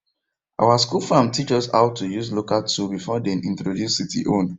our school farm teach us how to use local tool before dem introduce city own